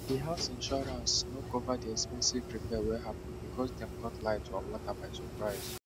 di house insurance no cover the expensive repair wey happen because dem cut light or water by surprise